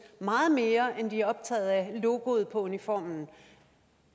meget mere end de er optaget af logoet på uniformen